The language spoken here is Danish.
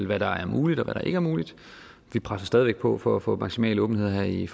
hvad der er muligt og hvad der ikke er muligt vi presser stadig væk på for at få maksimal åbenhed her i